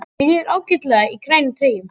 Mér líður ágætlega í grænum treyjum.